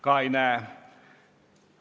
Ka ei näe soovi.